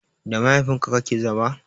Da mahaifin ka kake zama?